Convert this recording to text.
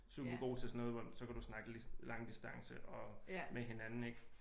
Super god til sådan noget hvor så kan du snakke langdistance og med hinanden ik